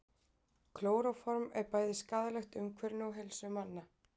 Klóróform er bæði skaðlegt umhverfinu og heilsu manna.